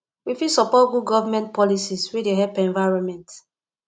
we fit support good government policies wey dey help environment